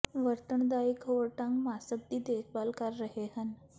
ਵਰਤਣ ਦਾ ਇੱਕ ਹੋਰ ਢੰਗ ਮਾਸਕ ਦੀ ਦੇਖਭਾਲ ਕਰ ਰਹੇ ਹਨ